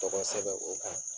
Tɔgɔ sɛbɛn o kan